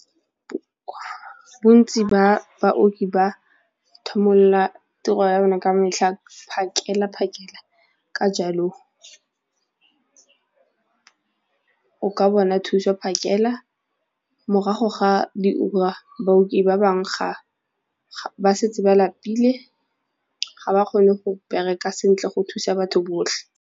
Bontsi ba baoki ba tiro ya bona ka metlha phakela-phakela ka jalo o ka bona thuso phakela morago ga diura baoki ba bangwe ba setse ba lapile ga ba kgone go bereka sentle go thusa batho botlhe.